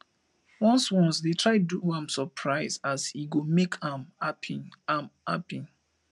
ones ones dey try do am soprise as e go mek am hapi am hapi